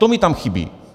To mi tam chybí.